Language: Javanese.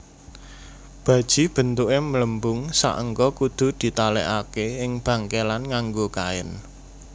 Baji bentuke mlembung saengga kudu ditalekake ing bangkekan nganggo kain